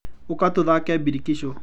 Ũka tũthake birikiso.